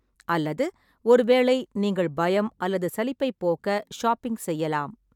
அல்லது ஒருவேளை நீங்கள் பயம் அல்லது சலிப்பைப் போக்க ஷாப்பிங் செய்யலாம்.